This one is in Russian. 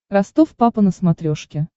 ростов папа на смотрешке